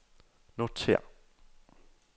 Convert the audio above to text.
notér